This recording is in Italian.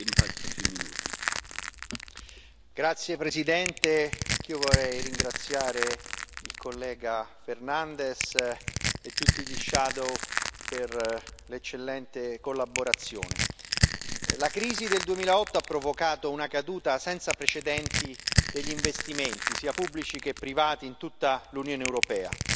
Signor Presidente, onorevoli colleghi, anch'io vorrei ringraziare il collega Fernandes e tutti i relatori ombra per l'eccellente collaborazione. La crisi del 2008 ha provocato una caduta senza precedenti degli investimenti, sia pubblici che privati, in tutta l'Unione europea.